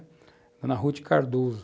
Ana Ruth Cardoso.